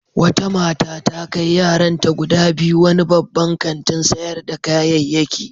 Wata mata ta kai yaranta guda biyu wani babban kantin sayar da kayayyaki.